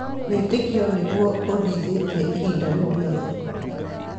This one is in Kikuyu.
Wĩtĩkio nĩguo ũndithĩtie ihinda rĩu rĩothe.